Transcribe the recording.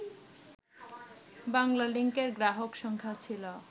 বাংলালিংকের গ্রাহক সংখ্যা ছিল